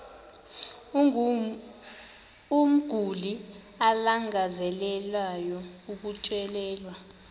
umguli alangazelelayo ukutyelelwa